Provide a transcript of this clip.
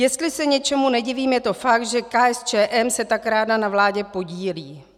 Jestli se něčemu nedivím, je to fakt, že KSČM se tak ráda na vládě podílí.